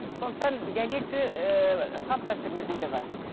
сондықтан диалекті ыыы салт дәстүрімізде де бар